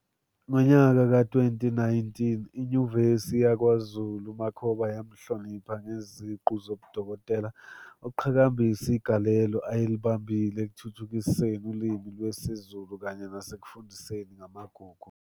Ngonyaka we-2019 iNyuvesi yakwaZulu UMakhoba yamhlonipha ngeziqu zobudokotela ukugqhakambisa igalelo ayelinambili ekuthuthukiseni uLimi lwesiZulu kanye nasekufundiseni ngamaGugu.